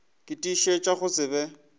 ke tiišetša go se be